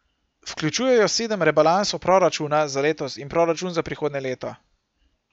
Vključujejo sedem rebalansov proračuna za letos in proračun za prihodnje leto.